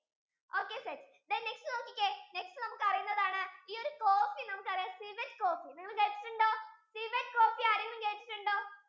okay set then next നോക്കിക്കേ next നമുക്ക് അറിയുന്നതാണ് ഈ ഒരു coffee നമ്മുക്ക് അറിയാം civet coffee നിങ്ങൾ കേട്ടിട്ടുണ്ടോ? civet coffee ആരെങ്കിലും കേട്ടിട്ടുണ്ടോ